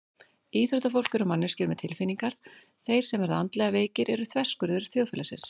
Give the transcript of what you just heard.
Íþróttafólk eru manneskjur með tilfinningar Þeir sem verða andlega veikir eru þverskurður þjóðfélagsins.